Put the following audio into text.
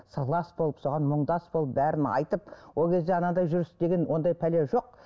сырлас болып соған мұңдас болып бәрін айтып ол кезде анадай жүріс деген ондай бәле жоқ